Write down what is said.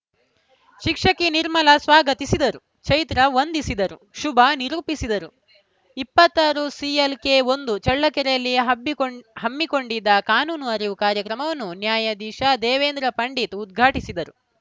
ಶಿಕ್ಷಕಿ ನಿರ್ಮಲ ಸ್ವಾಗತಿಸಿದರು ಚೈತ್ರ ವಂದಿಸಿದರು ಶುಭಾ ನಿರೂಪಿಸಿದರು ಇಪ್ಪತ್ತ್ ಆರು ಸಿಎಲ್‌ಕೆ ಒಂದು ಚಳ್ಳಕೆರೆಯಲ್ಲಿ ಹಬ್ಬಿ ಹಮ್ಮಿಕೊಂಡಿದ್ದ ಕಾನೂನು ಅರಿವು ಕಾರ್ಯಕ್ರಮವನ್ನು ನ್ಯಾಯಧೀಶ ದೇವೇಂದ್ರ ಪಂಡಿತ್‌ ಉದ್ಘಾಟಿಸಿದರು